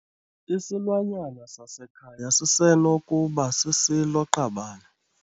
Isilwanyana sasekhaya sisenokuba sisilo-qabane.